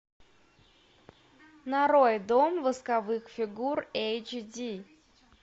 нарой дом восковых фигур эйч ди